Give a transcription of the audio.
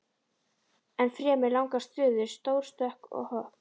Ennfremur langar stöður, stór stökk og hopp.